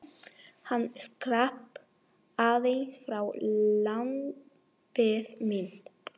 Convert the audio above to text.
Hann skrapp aðeins frá, lambið mitt.